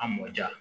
A mɔ ja